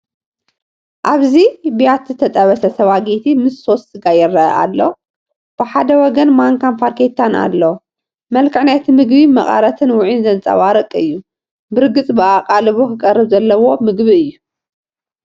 ኣብዚ ብያቲ ዝተጠበሰ ስፓጌቲ ምስ ሶስ ስጋ ይረአ ኣሎ። ብሓደ ወገን ማንካን ፋርኬታን ኣሎ። መልክዕ ናይቲ ምግቢ መቐረትን ውዑይን ዘንጸባርቕ እዩ፤ ብርግጽ ብኣቓልቦ ክቐርብ ዘለዎ ምግቢ እዩ።